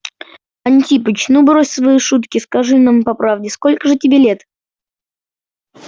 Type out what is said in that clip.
антипыч ну брось свои шутки скажи нам по правде сколько же тебе лет